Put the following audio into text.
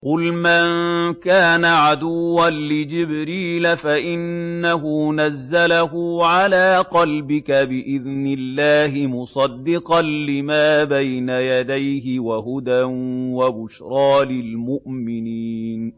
قُلْ مَن كَانَ عَدُوًّا لِّجِبْرِيلَ فَإِنَّهُ نَزَّلَهُ عَلَىٰ قَلْبِكَ بِإِذْنِ اللَّهِ مُصَدِّقًا لِّمَا بَيْنَ يَدَيْهِ وَهُدًى وَبُشْرَىٰ لِلْمُؤْمِنِينَ